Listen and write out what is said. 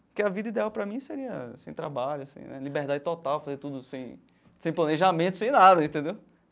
Que a vida ideal para mim seria sem trabalho sem, a liberdade total, fazer tudo sem sem planejamento, sem nada, entendeu?